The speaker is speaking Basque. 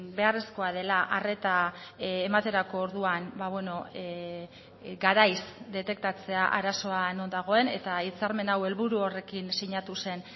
beharrezkoa dela arreta ematerako orduan garaiz detektatzea arazoa non dagoen eta hitzarmen hau helburu horrekin sinatu zen